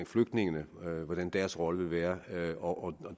flygtningene hvordan deres rolle vil være og